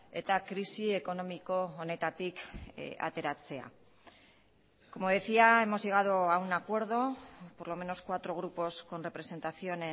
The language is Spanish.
eta krisi ekonomiko honetatik ateratzea como decía hemos llegado a un acuerdo por lo menos cuatro grupos con representación